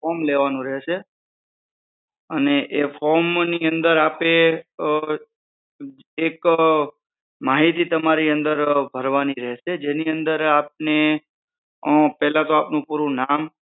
form લેવાનું રહેશે અને એ form ની અંદર આપ એ એક માહિતી તમારી ભરવાની રહેશે જેની અંદર આપને પેહલા તો આપણું પૂરું નામ